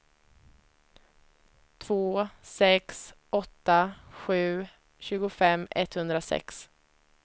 två sex åtta sju tjugofem etthundrasex